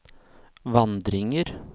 vandringer